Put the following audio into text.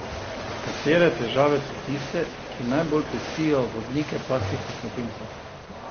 Katere težave so tiste, ki najbolj pestijo vodnike pasjih kosmatincev?